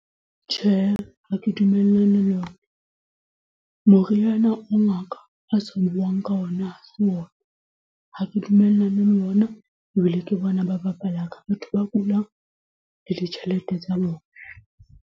Tjhe, ha ke dumellane le yona. Moriana o ngaka a sa buang ka ona ha se ona, ha ke dumellane le ona ebile ke bona ba bapala ka batho ba kulang le ditjhelete tsa bona.